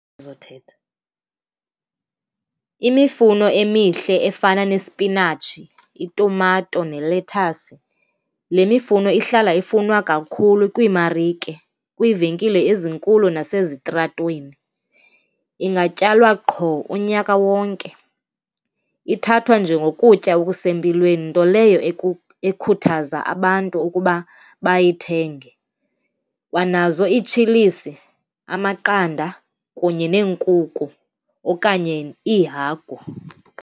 Uzothetha. Imifuno emihle efana nesipinatshi, itumato nelethasi, le mifuno ihlala ifunwa kakhulu kwiimarike, kwiivenkile ezinkulu nasezitratweni, ingatyalwa qho unyaka wonke. Ithathwa njengokutya okusempilweni, nto leyo ekhuthaza abantu ukuba bayithenge. Kwanazo iitshilisi, amaqanda kunye neenkukhu okanye iihagu.